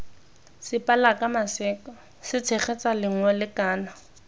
sepalaka maseka setshegetsa lengole kana